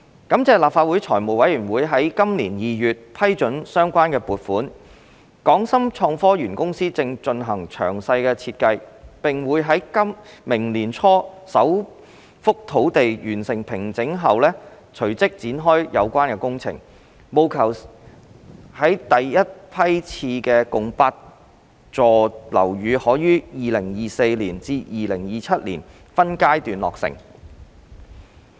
感謝立法會財務委員會於今年2月批准相關撥款，港深創科園公司正進行詳細設計，並會在明年年初首幅土地完成平整後隨即展開有關工程，務求使第一批次共8座樓宇可於2024年至2027年間分階段落成。